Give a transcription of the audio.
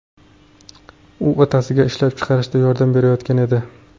U otasiga ishlab chiqarishda yordam berayotgan edi.